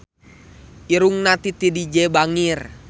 Irungna Titi DJ bangir